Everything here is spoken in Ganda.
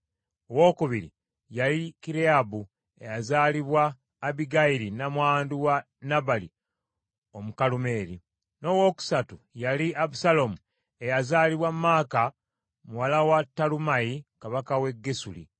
owookubiri yali Kireyaabu eyazaalibwa Abbigayiri nnamwandu wa Nabali Omukalumeeri, n’owookusatu yali Abusaalomu eyazaalibwa Maaka muwala wa Talumaayi kabaka w’e Gesuli ;